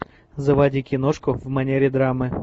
заводи киношку в манере драмы